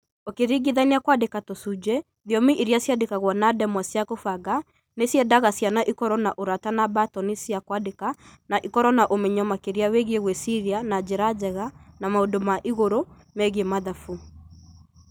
ũkĩringithania kwandĩka na tũcunjĩ, thiomi iria ciandĩkagwo na ndemwa cia kũbanga nĩ ciendaga ciana ikorũo na ũrata na mbatoni cia kwandĩka na ikorũo na ũmenyo makĩria wĩgiĩ gwĩciria na njĩra njega na maũndũ ma igũrũ megiĩ mathabu.